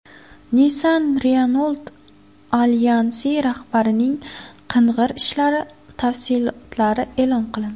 Nissan-Renault alyansi rahbarining qing‘ir ishlari tafsilotlari e’lon qilindi.